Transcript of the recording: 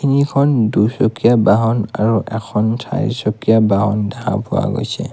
ইখন দুচকীয়া বাহন আৰু এখন চাৰি চকীয়া বাহন দেখা পোৱা গৈছে।